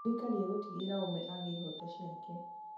Thirikari ĩgũtigĩrĩra o ũmwe agĩa ihooto ciake.